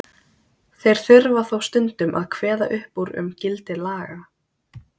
þeir þurfa þó stundum að kveða upp úr um gildi laga